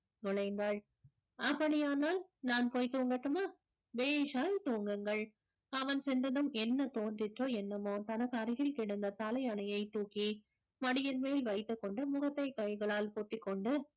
நுழைந்தாள் அப்படியானால் நான் போய் தூங்கட்டுமா பேஷாய் தூங்குங்கள் அவன் சென்றதும் என்ன தோன்றிச்சோ என்னவோ தனக்கு அருகில் கெடந்த தலையணையைத் தூக்கி மடியின் மேல் வைத்துக்கொண்டு முகத்தை கைகளால் பூட்டிக்கொண்டு